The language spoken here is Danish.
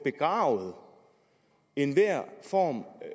begravet enhver form